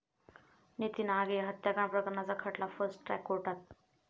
नितीन आगे हत्याकांड प्रकरणाचा खटला फार्स्ट ट्रॅक कोर्टात